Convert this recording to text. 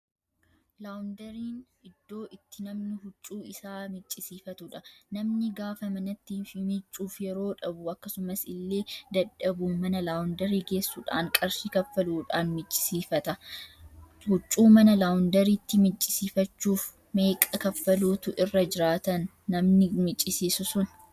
Laawunderiin iddoo itti namni huccuu isaa miccisiifatudha. Namni gaafa manatti miiccuuf yeroo Dhabu akkasumas ille dadhabuu mana laawundarii geessuudhaan qarshii kaffaluudhaan miccisiifatu. huccuu mana laawundariitti miiccisiifachuuf meeqa kaffaluutu irra jiraatan namni micisiisu sun?